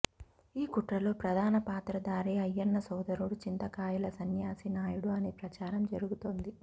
ఈ కుట్రలో ప్రధాన పాత్రదారి అయ్యన్న సోదరుడు చింతకాయల సన్యాసి నాయుడు అని ప్రచారం జరుగుతోంది